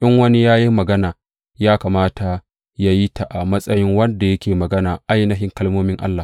In wani ya yi magana, ya kamata yă yi ta a matsayin wanda yake magana ainihin kalmomin Allah.